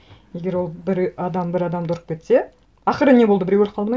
егер ол бір адам бір адамды ұрып кетсе ақыры не болды біреу өліп қалды ма